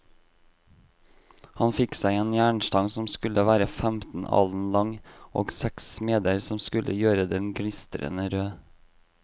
Han fikk seg en jernstang som skulle være femten alen lang, og seks smeder som skulle gjøre den gnistrende rød.